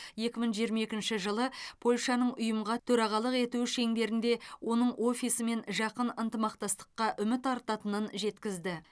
екі мың жиырма екінші жылы польшаның ұйымға төрағалық етуі шеңберінде оның офисімен жақын ынтымақтастыққа үміт артатынын жеткізді